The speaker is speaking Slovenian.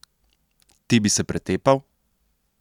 Ti bi se pretepal?